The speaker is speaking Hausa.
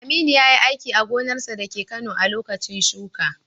Aminu yayi aiki a gonarsa dake Kano a lokacin shuka.